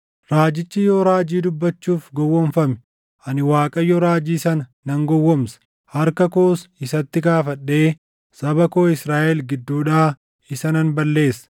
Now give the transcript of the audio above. “ ‘Raajichi yoo raajii dubbachuuf gowwoomfame, ani Waaqayyo raajii sana nan gowwoomsa; harka koos isatti kaafadhee saba koo Israaʼel gidduudhaa isa nan balleessa.